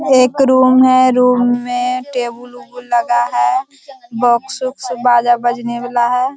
एक रूम है रूम में टेबल लगा है बॉक्स बाजा बजने वाला है।